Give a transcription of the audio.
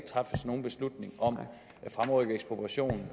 træffes nogen beslutning om